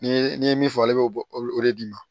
Ni ye n'i ye min fɔ ale b'o o de d'i ma